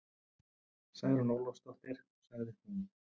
Særún Ólafsdóttir, sagði hún.